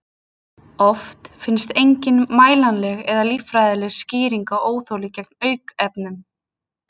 Oft finnst engin mælanleg eða líffræðileg skýring á óþoli gegn aukefnum.